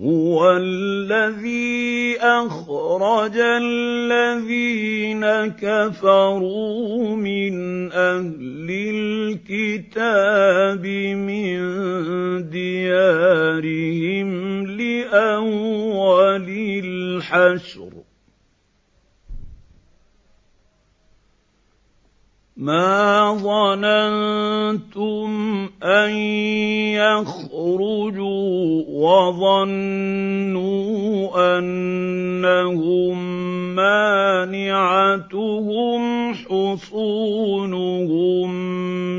هُوَ الَّذِي أَخْرَجَ الَّذِينَ كَفَرُوا مِنْ أَهْلِ الْكِتَابِ مِن دِيَارِهِمْ لِأَوَّلِ الْحَشْرِ ۚ مَا ظَنَنتُمْ أَن يَخْرُجُوا ۖ وَظَنُّوا أَنَّهُم مَّانِعَتُهُمْ حُصُونُهُم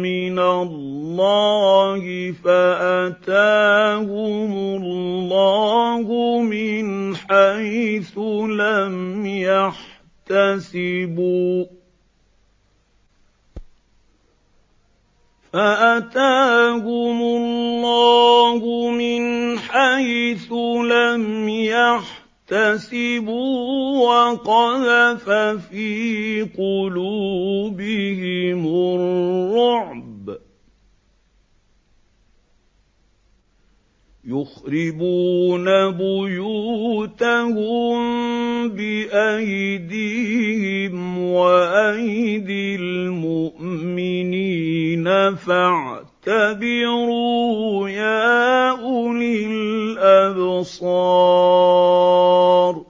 مِّنَ اللَّهِ فَأَتَاهُمُ اللَّهُ مِنْ حَيْثُ لَمْ يَحْتَسِبُوا ۖ وَقَذَفَ فِي قُلُوبِهِمُ الرُّعْبَ ۚ يُخْرِبُونَ بُيُوتَهُم بِأَيْدِيهِمْ وَأَيْدِي الْمُؤْمِنِينَ فَاعْتَبِرُوا يَا أُولِي الْأَبْصَارِ